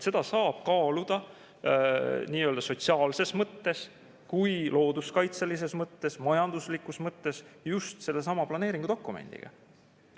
Seda saab kaaluda nii sotsiaalses mõttes, looduskaitselises mõttes kui ka majanduslikus mõttes just sellesama planeeringudokumendi.